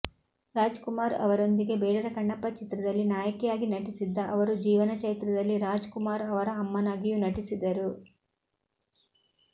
ರಾಜ್ ಕುಮಾರ್ ಅವರೊಂದಿಗೆ ಬೇಡರಕಣ್ಣಪ್ಪ ಚಿತ್ರದಲ್ಲಿ ನಾಯಕಿಯಾಗಿ ನಟಿಸಿದ್ದ ಅವರು ಜೀವನಚೈತ್ರದಲ್ಲಿ ರಾಜ್ ಕುಮಾರ್ ಅವರ ಅಮ್ಮನಾಗಿಯೂ ನಟಿಸಿದರು